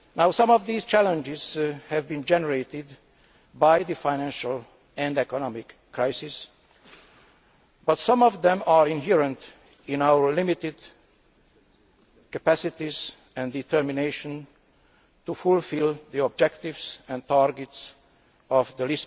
Some of these challenges have been generated by the financial and economic crisis, but some of them are inherent in our limited capacities and determination to fulfil the objectives and targets of the